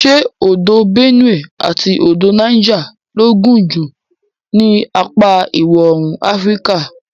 Ṣé odò Benue àti odò Niger ló gùn jù ní apa iwọ̀oòrùn Áfíríkà.